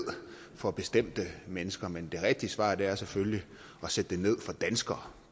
for bestemte mennesker men det rigtige svar er selvfølgelig at sætte den ned for danskere